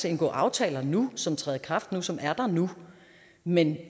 indgå aftaler nu som træder i kraft nu som er der nu men